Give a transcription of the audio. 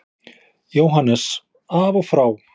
JÓHANNES: Af og frá!